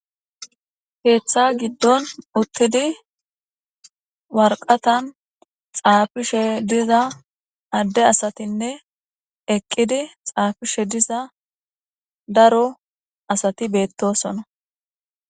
heeththa giddon uttidi warqatan xaafishe diza adde asatinne eqqidi xaafishe diza daro asati beettosona